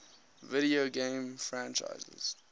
video game franchises